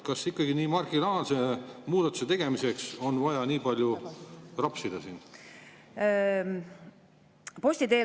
Kas ikkagi nii marginaalse muudatuse tegemiseks on vaja siin nii palju rapsida?